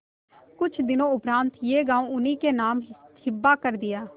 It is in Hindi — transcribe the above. कुछ दिनों उपरांत यह गॉँव उन्हीं के नाम हिब्बा कर दिया